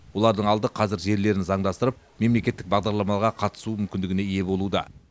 олардың алды қазір жерлерін заңдастырып мемлекеттік бағдарламаларға қатысу мүмкіндігіне ие болуда